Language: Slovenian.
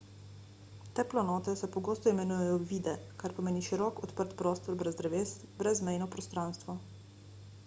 te planote se pogosto imenujejo vidde kar pomeni širok odprt prostor brez dreves brezmejno prostranstvo